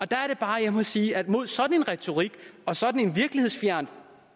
der er det bare jeg må sige at mod sådan en retorik og sådan en virkelighedsfjern